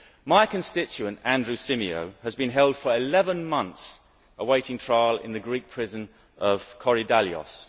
My constituent Andrew Symeou has been held for 11 months awaiting trial in the Greek prison of Korydallos.